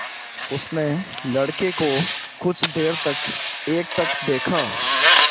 उसने लड़के को कुछ देर तक एकटक देखा